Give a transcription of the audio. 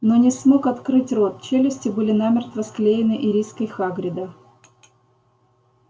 но не смог открыть рот челюсти были намертво склеены ириской хагрида